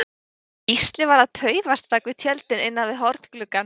Gísli var að paufast bak við tjöldin innan við horngluggann.